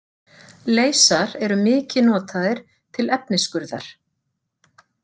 Leysar eru mikið notaðir til efnisskurðar.